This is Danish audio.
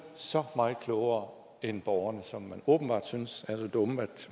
så meget klogere end borgerne som man åbenbart synes er så dumme at